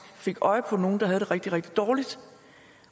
fik øje på nogle der havde det rigtig rigtig dårligt